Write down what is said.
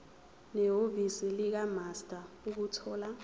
nehhovisi likamaster ukuthola